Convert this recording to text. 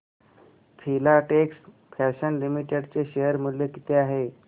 Filatex fashions limited चे share मूल्य किती आहे